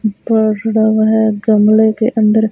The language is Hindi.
जुड़ा हुआ है गमले के अंदर--